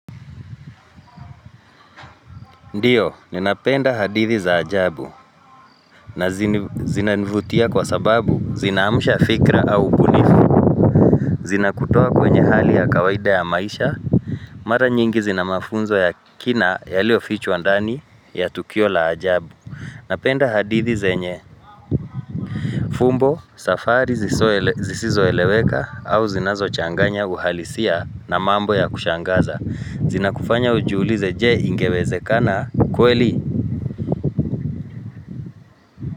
Ndiyo, ninapenda hadithi za ajabu na zinanivutia kwa sababu zinamusha fikra au upunifu. Zinakutoa kwenye hali ya kawaida ya maisha, mara nyingi zinamafunzo ya kina yalio fichwa ndani ya tukio la ajabu. Napenda hadithi zenye, fumbo, safari zisizo eleweka au zinazo changanya uhalisia na mambo ya kushangaza. Zinakufanya ujuulize je ingeweze kana kweli.